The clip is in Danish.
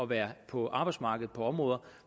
være på arbejdsmarkedet på områder